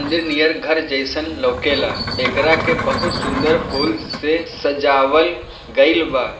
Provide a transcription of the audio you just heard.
मंदिर नियर घर जैसन लोकेला। एकरा के बहुत सुंदर फूल से सजावल गइल बा।